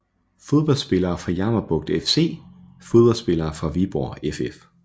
Fodboldspillere fra Jammerbugt FC Fodboldspillere fra Viborg FF